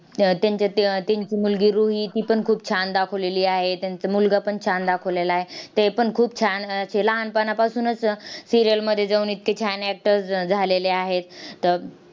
त्यांच्यात अह त्यांची मुलगी रुही तीपण खूप छान दाखवलेली आहे. त्यांचा मुलगापण छान दाखवलेला आहे. तेपण खूप छान असं लहानपणापासूनच serial मध्ये जाऊन इतके छान actors झ झालेले आहेत. त